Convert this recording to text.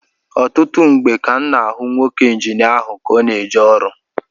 Ọtụtụ mgbe ka m na-ahụ nwoke Injinia ahụ ka ọ na-eje ọrụ